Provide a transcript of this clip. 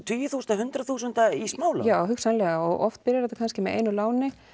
tugi þúsund hundruð þúsundir í smálán já hugsanlega og oft byrjar þetta með einu láni